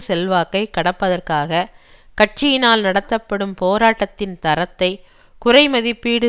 செல்வாக்கை கடப்பதற்காக கட்சியினால் நடத்தப்படும் போராட்டத்தின் தரத்தை குறைமதிப்பீடு